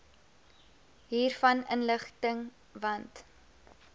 hiervan inlig want